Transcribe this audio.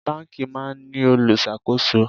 Báńkì máa ń ní olùṣàkóso.